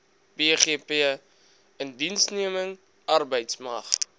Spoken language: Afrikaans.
bgp indiensneming arbeidsmag